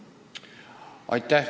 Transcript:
Aitäh!